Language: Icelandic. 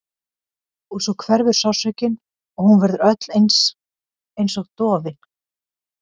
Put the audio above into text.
Og svo hverfur sársaukinn og hún verður öll einsog dofin.